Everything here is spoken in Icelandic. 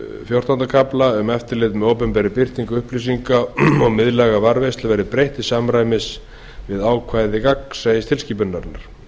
fjórtánda kafla um eftirlit með opinberri birtingu upplýsinga og miðlæga varðveislu verði breytt til samræmis við ákvæði gagnsæistilskipunarinnar